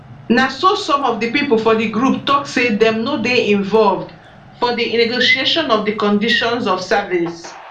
na so some of di pipo for di group tok say dem no dey involved for di negotiation of di conditions of service